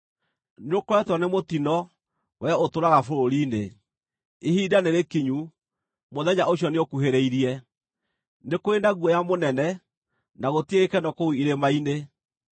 Nĩũkoretwo nĩ mũtino, wee ũtũũraga bũrũri-inĩ. Ihinda nĩrĩkinyu, mũthenya ũcio nĩũkuhĩrĩirie; nĩ kũrĩ na guoya mũnene, na gũtirĩ gĩkeno kũu irĩma-inĩ.